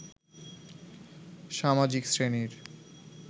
সামাজিক শ্রেণীর